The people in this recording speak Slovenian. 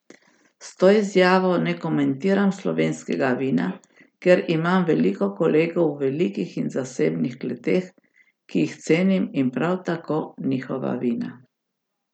S to izjavo ne komentiram slovenskega vina, ker imam veliko kolegov v velikih in zasebnih kleteh, ki jih cenim in prav tako njihova vina.